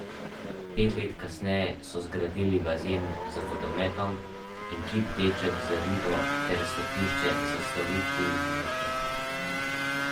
Pet let kasneje so zgradili bazen z vodometom in kip Deček z ribo ter stopnišče s slovitimi litoželeznimi kipi psov.